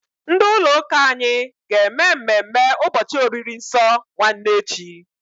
Ndị ụlọ ụka anyị ga-eme mmemme ụbọchị oriri nsọ nwanne echi.